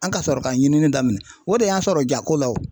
An ka sɔrɔ ka ɲinini daminɛ, o de y'an sɔrɔ ja ko la o.